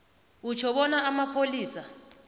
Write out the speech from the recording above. utjho bona amapholisa